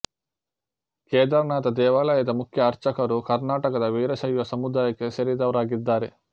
ಕೇದಾರನಾಥ ದೇವಾಲಯದ ಮುಖ್ಯ ಅರ್ಚಕರು ಕರ್ನಾಟಕದ ವೀರಶೈವ ಸಮುದಾಯಕ್ಕೆ ಸೇರಿದವರಾಗಿದ್ದಾರೆ